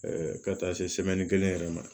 ka taa se kelen yɛrɛ ma